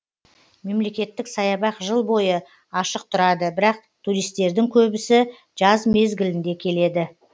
мемлекеттік саябақ жыл бойы ашық тұрады бірақ туристтердің көбісі жаз мезгілінде келеді